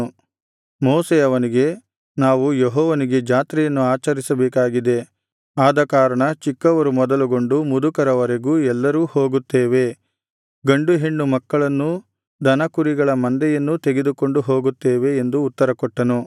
ಮೋಶೆ ಅವನಿಗೆ ನಾವು ಯೆಹೋವನಿಗೆ ಜಾತ್ರೆಯನ್ನು ಆಚರಿಸಬೇಕಾಗಿದೆ ಆದಕಾರಣ ಚಿಕ್ಕವರು ಮೊದಲುಗೊಂಡು ಮುದುಕರವರೆಗೂ ಎಲ್ಲರೂ ಹೋಗುತ್ತೇವೆ ಗಂಡು ಹೆಣ್ಣುಮಕ್ಕಳನ್ನೂ ದನಕುರಿಗಳ ಮಂದೆಯನ್ನು ತೆಗೆದುಕೊಂಡು ಹೋಗುತ್ತೇವೆ ಎಂದು ಉತ್ತರಕೊಟ್ಟನು